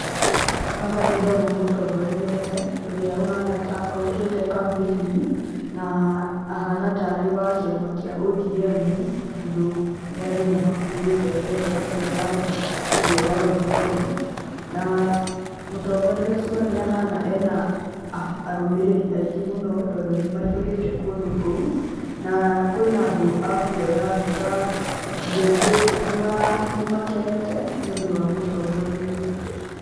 Haha ndĩrona mũtongoria ũmwe ũrĩa ũhana ta okĩte kampeini na ahana ta arĩ wa kĩama kĩa ODM, tondũ andũ nĩmakuĩte bendera cia rangi ũcio wa ya ODM. Na mũtongoria ũcio nĩahana e na arũmĩrĩri aingĩ mũno, tondũ nĩmaihũrĩte kũndũ kũu. Na kwĩna andũ a kuoya mbica. Andũ aingĩ nĩmakenete nĩũndũ wa mũtongoria ũyũ.